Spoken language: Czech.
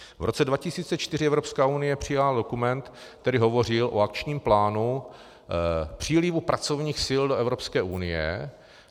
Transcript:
V roce 2004 Evropská unie přijala dokument, který hovořil o akčním plánu přílivu pracovních sil do Evropské unie.